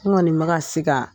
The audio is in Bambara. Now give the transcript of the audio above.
N Kɔɔni bɛ ka siga.